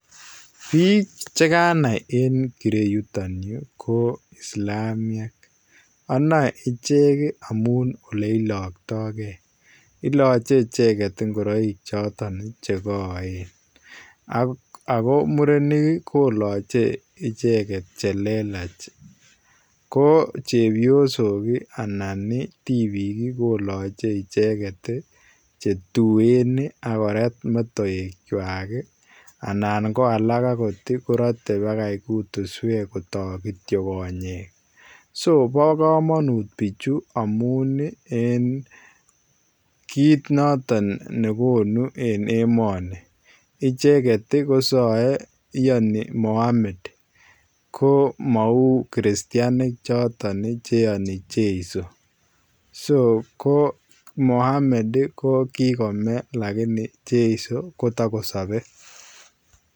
Biiik chekanai en kirue yutoon Yuu ii ko islamiek anae icheek ii amuun ole ilaktagei ilache ichegeet ingoraik chotoon che kaen ago murenik kilachei ichegeet che lelaach ko chepsok ii anan tibiik ii kilachei ichegeet then ii akoraat metoek kwaak ii anan ko alaak akoot korate bakaa kutisweek kotaag kityoi konyeek so bo kamanut bichu amuun en kiit notoon negonuu en emanii icheget ii kosae iyanii Mohamed ko mau ii Christianik che yani jesu so ko Mohammed ii ko meeh lakini jeiso kotakosabei.